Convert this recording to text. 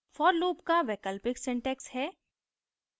for loop का वैकल्पिक syntax हैः